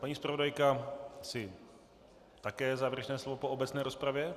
Paní zpravodajka má také závěrečné slovo po obecné rozpravě.